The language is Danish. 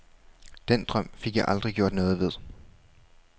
Den drøm fik jeg aldrig gjort noget ved.